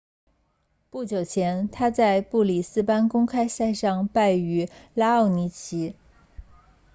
不久前他在布里斯班公开赛上败于拉奥尼奇